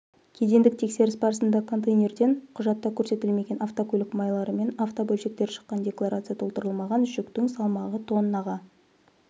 кедендік тексеріс барысында контейнерден құжатта көрсетілмеген автокөлік майлары мен автобөлшектер шыққан декларация толтырылмаған жүктің салмағы тоннаға